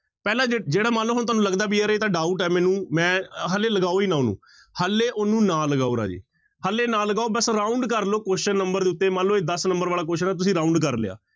ਪਹਿਲਾਂ ਜੇ ਜਿਹੜਾ ਮਨ ਲਓ ਹੁਣ ਤੁਹਾਨੂੰ ਲਗਦਾ ਵੀ ਯਾਰ ਇਹ ਤਾਂ doubt ਹੈ ਮੈਨੂੰ ਮੈਂ ਹਾਲੇ ਲਗਾਓ ਹੀ ਨਾ ਉਹਨੂੰ ਹਾਲੇ ਉਹਨੂੰ ਨਾ ਲਗਾਓ ਰਾਜੇ, ਹਾਲੇ ਨਾ ਲਗਾਓ ਬਸ round ਕਰ ਲਓ question number ਦੇ ਉੱਤੇ ਮਨ ਲਓ ਇਹ ਦਸ number ਵਾਲਾ question ਹੈ ਤੁਸੀਂ round ਕਰ ਲਿਆ।